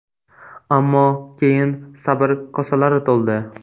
Ammo keyin sabr kosalari to‘ldi.